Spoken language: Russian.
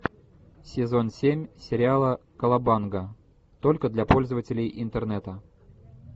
сезон семь сериала колобанга только для пользователей интернета